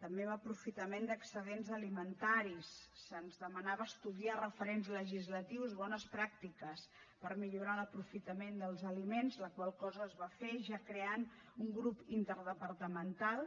també en aprofitament d’excedents alimentaris se’ns demanava estudiar referents legislatius bones pràctiques per millorar l’aprofitament dels aliments la qual cosa es va fer ja creant un grup interdepartamental